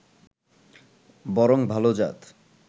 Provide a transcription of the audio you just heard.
বরং ভালো-জাত